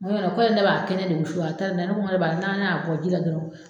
ne b'a kɛnɛ de wusu, a taara n'a ye ,ne ko ne b'a n'a y'a bɔ ji la dɔrɔn